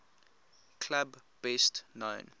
club best known